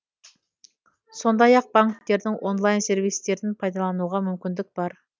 сондай ақ банктердің онлайн сервистерін пайдалануға мүмкіндік бар